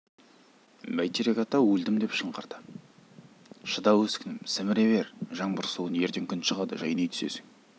бәйтерек ата өлдім деп шыңғырды шыда өскінім сіміре бер жаңбыр суын ертең күн шығады жайнай түсесің